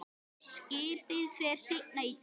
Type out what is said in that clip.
Skipið fer seinna í dag.